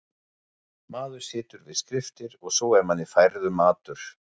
Maður situr við skriftir og svo er manni færður matur.